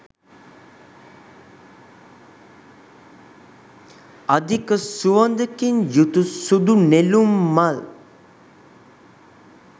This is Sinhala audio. අධික සුවඳකින් යුතු සුදු නෙළුම් මල්